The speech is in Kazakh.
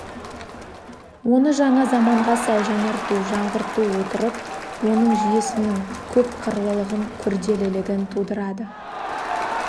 оны жаңа заманға сай жаңарту жаңғырту отырып оның жүйесінің көпқырлылығын күрделілігін тудырады